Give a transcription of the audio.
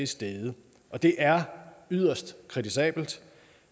steget og det er yderst kritisabelt